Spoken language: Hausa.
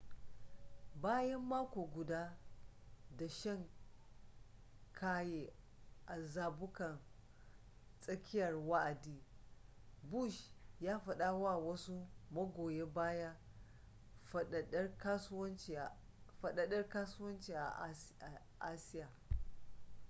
bayan mako guda da shan kaye a zabukan tsakiyar wa'adi bush ya fada wa wasu magoya baya fadadar kasuwanci a asiya